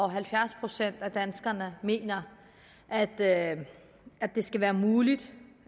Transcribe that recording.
at halvfjerds procent af danskerne mener at at det skal være muligt